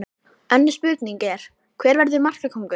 Önnur spurning er: Hver verður markakóngur?